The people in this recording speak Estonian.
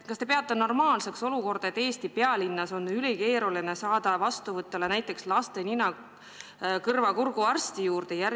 Kas te peate normaalseks olukorda, et Eesti pealinnas on ülikeeruline saada näiteks laste nina-kõrva-kurguarsti vastuvõtule?